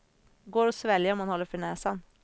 Går att svälja om man håller för näsan.